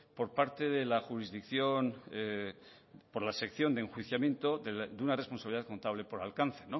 por parte de la jurisdicción por la sección de enjuiciamiento de una responsabilidad contable por alcance